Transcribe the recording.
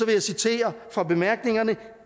jeg citere fra bemærkningerne